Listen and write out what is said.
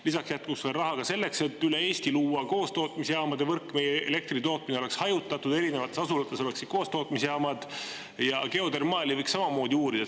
Lisaks jätkus veel raha ka selleks, et üle Eesti luua koostootmisjaamade võrk, elektritootmine oleks hajutatud, erinevates asulates oleks koostootmisjaamad, ja geodermaali võiks samamoodi uurida.